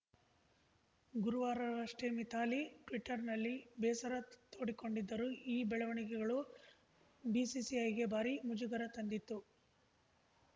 ಗುರುವಾರವಷ್ಟೇ ಮಿಥಾಲಿ ಟ್ವೀಟರ್‌ನಲ್ಲಿ ಬೇಸರ ತೋಡಿಕೊಂಡಿದ್ದರು ಈ ಬೆಳವಣಿಗೆಗಳು ಬಿಸಿಸಿಐಗೆ ಭಾರೀ ಮುಜುಗರ ತಂದಿತ್ತು